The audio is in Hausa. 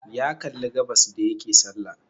Ya kalli gabas da yake salla